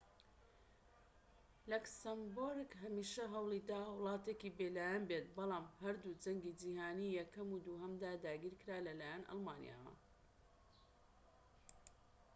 لەکسەمبۆرگ هەمیشە هەوڵیداوە وڵاتێکی بێلایەن بێت بەڵام لە هەردوو جەنگی جیهانی یەکەم و دووهەمدا داگیرکرا لەلایەن ئەڵمانیاوە